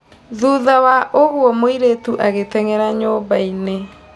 Thutha wa ũguo mũirĩtu agĩtenyera nyũmbainĩ.